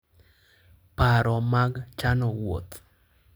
Paro mag chano wuoth: